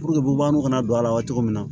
bubagaw kana na don a la wa cogo min na